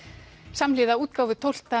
samhliða útgáfu tólfta